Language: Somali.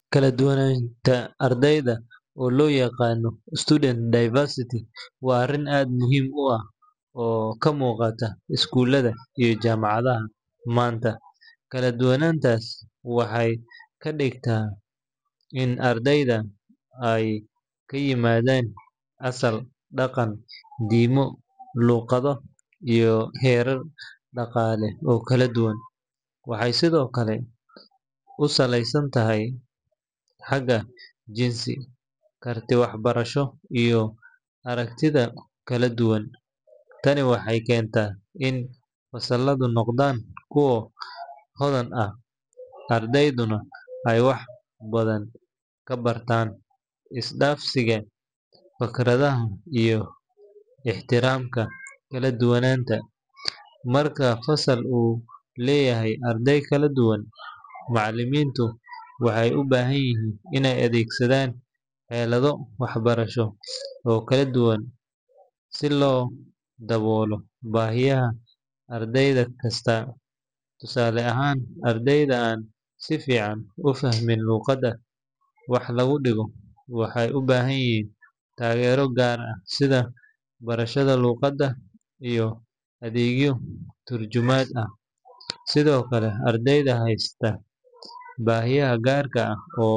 Kala duwanaanta ardayda, oo loo yaqaan student diversity, waa arrin aad muhiim u ah oo ka muuqata iskuulada iyo jaamacadaha maanta. Kala duwanaantaas waxay ka dhigan tahay in ardaydu ay ka yimaadeen asal, dhaqan, diimo, luqado iyo heerar dhaqaale oo kala duwan. Waxay sidoo kale ku salaysan tahay xagga jinsi, karti waxbarasho, iyo aragtiyo kala duwan. Tani waxay keentaa in fasalladu noqdaan kuwo hodan ah, ardayduna ay wax badan ka bartaan is-dhaafsiga fikradaha iyo ixtiraamka kala duwanaanta. Marka fasal uu leeyahay arday kala duwan, macallimiintu waxay u baahan yihiin inay adeegsadaan xeelado waxbarasho oo kala duwan si loo daboolo baahiyaha arday kasta. Tusaale ahaan, ardayda aan si fiican u fahmin luqadda wax lagu dhigayo waxay u baahan yihiin taageero gaar ah sida barashada luqadda iyo adeegyo turjumaad ah. Sidoo kale, ardayda haysta baahiyo gaar ah.